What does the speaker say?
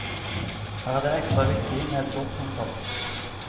Her er det ekstra viktig med et godt håndtak.